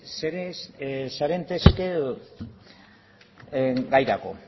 serantes gairako